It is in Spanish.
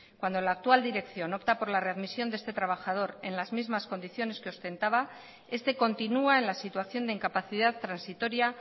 cuando la actual dirección opta por la readmisión de este trabajador en las mismas condiciones que ostentaba este continua en la situación de incapacidad transitoria